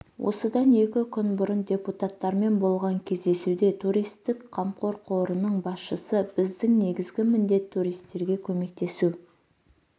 осыдан екі күн бұрын депутаттармен болған кездесуде туристік қамқор қорының басшысы біздің негізгі міндет туристерге көмектесу